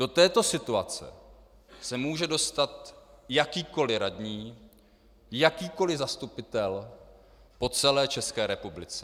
Do této situace se může dostat jakýkoliv radní, jakýkoliv zastupitel po celé České republice.